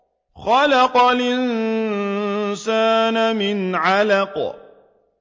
خَلَقَ الْإِنسَانَ مِنْ عَلَقٍ